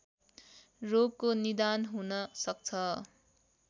रोगको निदान हुन सक्छ